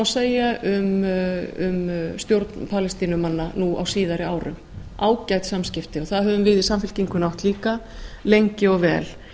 segja um stjórn palestínumanna nú á síðari árum ágæt samskipti og það höfum við í samfylkingunni átt líka lengi og vel